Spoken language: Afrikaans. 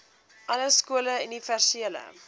alle skole universele